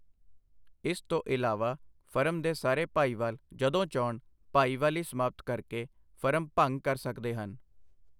ਇਸ ਤੋਂ ਇਲਾਵਾ ਫਰਮ ਦੇ ਸਾਰੇ ਭਾਈਵਾਲ ਜਦੋਂ ਚਾਹੁੰਣ ਭਾਈਵਾਲੀ ਸਮਾਪਤ ਕਰਕੇ ਫਰਮ ਭੰਗ ਕਰ ਸਕਦੇ ਹਨ।